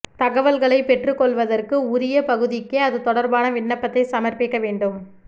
தகவல்களை பெற்றுக்கொள்வதற்கு உரிய பகுதிக்கே அது தொடர்பான விண்ணப்பத்தை சமர்ப்பிக்க வேண்டும்